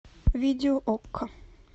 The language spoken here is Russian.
видео окко